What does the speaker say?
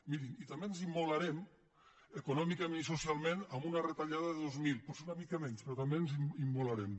mirin i també ens immolarem econòmicament i socialment amb una retallada de dos mil potser una mica menys però també ens immolarem